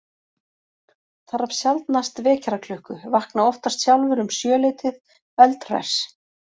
Þarf sjaldnast vekjaraklukku, vakna oftast sjálfur um sjö leytið, eldhress.